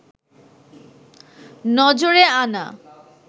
নজরে আনা